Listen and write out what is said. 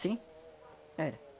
Sim. Era.